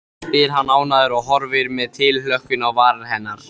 spyr hann ánægður og horfir með tilhlökkun á varir hennar.